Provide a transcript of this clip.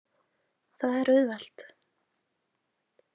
Það er auðvelt